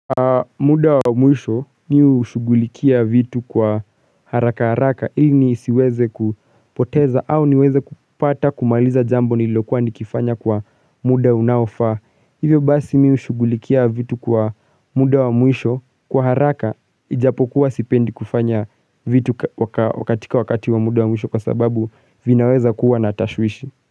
Muda wa mwisho ni ushugulikia vitu kwa haraka haraka ili nisiweze kupoteza au niweze kupata kumaliza jambo nilokuwa ni kifanya kwa muda unaofaa Hivyo basi mi ushugulikia vitu kwa muda wa mwisho kwa haraka ijapokuwa sipendi kufanya vitu wakatika wakati wa muda wa mwisho kwa sababu vinaweza kuwa natashwishi.